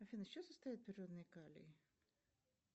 афина из чего состоит природный калий